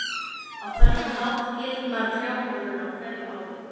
Á þennan hátt gildnar trjábolurinn á hverju ári.